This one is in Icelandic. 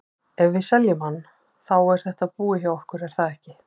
Ef við seljum hann, þá er þetta búið hjá okkur er það ekki?